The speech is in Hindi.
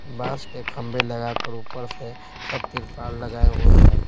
बांस के खंबे लगाकर ऊपर से सब तिरपाल लगाए हुए है।